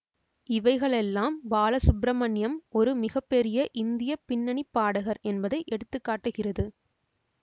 இவைகளெல்லாம் பாலசுப்பிரமணியம் ஒரு மிக பெரிய இந்திய பின்னணிப்பாடகர் என்பதை எடுத்துகாட்டுகிறது